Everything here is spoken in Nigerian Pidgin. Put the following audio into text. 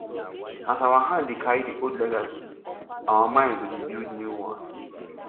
as our hand dey carry the old legacy our mind go dey build new one